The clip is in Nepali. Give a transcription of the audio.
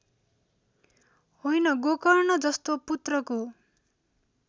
होइन गोकर्णजस्तो पुत्रको